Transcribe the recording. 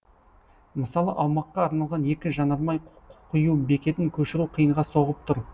мысалы аумаққа орналасқан екі жанармай құю бекетін көшіру қиынға соғып тұр